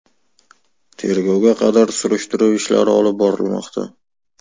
Tergovga qadar surishtiruv ishlari olib borilmoqda.